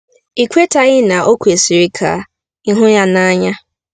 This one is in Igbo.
Ị kwetaghị na o kwesịrị ka ị hụ ya n'anya?